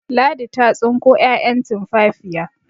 Ladi ta tsinko 'ya'yan tumfafiya